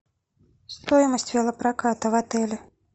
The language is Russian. стоимость велопроката в отеле